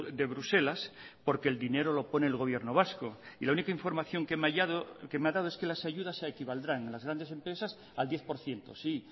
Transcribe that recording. de bruselas porque el dinero lo pone el gobierno vasco y la única información que me ha dado es que las ayudas se equivaldrán en las grandes empresas al diez por ciento sí